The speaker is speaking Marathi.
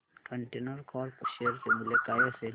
कंटेनर कॉर्प शेअर चे मूल्य काय असेल